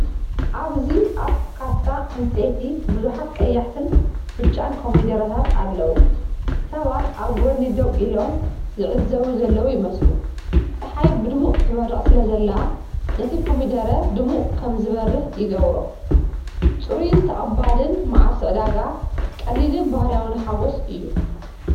ኣብዚ ኣብ ካሳ ዕንጨይቲ ብዙሓት ቀያሕትን ብጫን ኮሚደረታት ኣለዉ። ሰባት ኣብ ጎድኒ ደው ኢሎም ዝዕዘቡ ዘለዉ ይመስሉ። ጸሓይ ብድሙቕ ትበርቕ ስለ ዘላ፡ ነቲ ኮሚደረ ድሙቕ ከም ዝበርህ ይገብሮ። ፅሩይን ተቐባሊን መዓልቲ ዕዳጋ፤ ቀሊልን ባህርያዊን ሓጐስ እዩ።